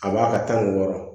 A b'a ka tan ni wɔɔrɔ